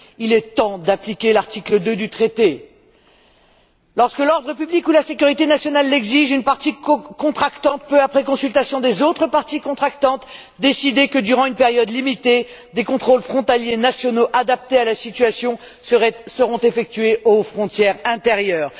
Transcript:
Il est temps d'appliquer l'article 2 du traité lorsque l'ordre public ou la sécurité nationale l'exigent, une partie contractante peut, après consultation des autres parties contractantes, décider que, durant une période limitée, des contrôles frontaliers nationaux adaptés à la situation seront effectués aux frontières intérieures.